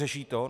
Řeší to?